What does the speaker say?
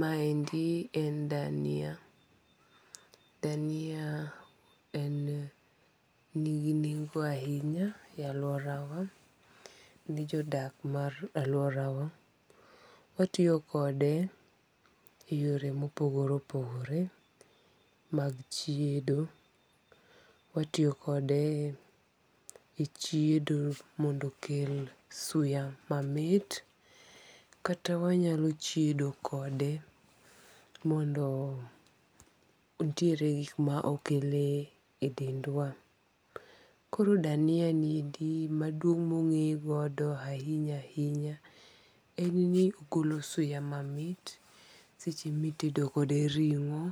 Maendi en dania dania, en nigi nengo ahinya e alworawa. Nijodak mar alworawa, watiyo kode, e yore mopogore opogore mag chiedo. Watiyo kode e chiedo mondo okel suya mamit, kata wanyalo chiedo kode mondo nitiere gik ma okele e dendwa. Koro dania niendi maduong' mong'eye godo ahinya ahinya en ni ogolo suya mamit seche mitedo kode ring'o,